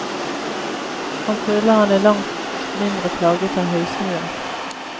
Han føler han er langt mindre plaget av høysnue.